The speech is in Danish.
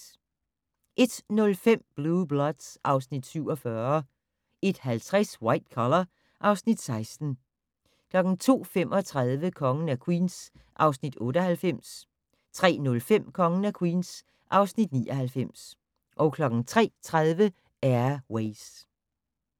01:05: Blue Bloods (Afs. 47) 01:50: White Collar (Afs. 16) 02:35: Kongen af Queens (Afs. 98) 03:05: Kongen af Queens (Afs. 99) 03:30: Air Ways